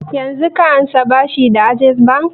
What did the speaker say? Yanzun ka ansa bashi da access bank?